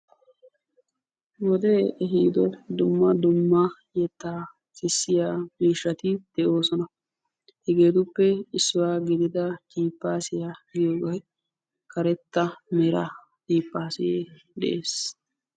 Wode ehido dumma dumma yetta sissiya miishshati de'oosona. Hegetuppe issuwaa gidida jippassiya giyoobay karetta mera jippaase de'ees.